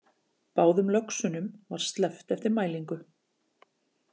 Báðum löxunum var sleppt eftir mælingu